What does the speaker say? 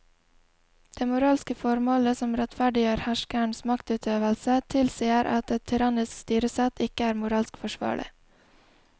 Det moralske formålet som rettferdiggjør herskerens maktutøvelse tilsier at et tyrannisk styresett ikke er moralsk forsvarlig.